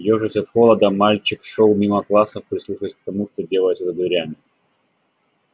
ёжась от холода мальчик шёл мимо классов прислушиваясь к тому что делается за дверями